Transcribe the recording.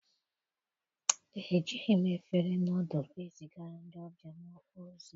ejighị m efere nọdụlụ ezigara ndị ọbịa m ozi.